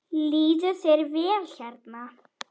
Líður þér vel hérna?